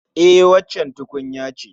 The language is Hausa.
E, waccan tukunya ce